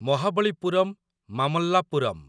Mahabalipuram Mamallapuram